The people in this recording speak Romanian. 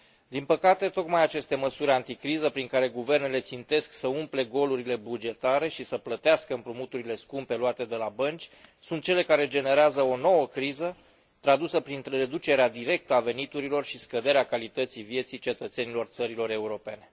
Din păcate, tocmai aceste măsuri anticriză, prin care guvernele țintesc să umple golurile bugetare și să plătească împrumuturile scumpe luate de la bănci, sunt cele care generează o nouă criză, tradusă prin reducerea directă a veniturilor și scăderea calității vieții cetățenilor țărilor europene.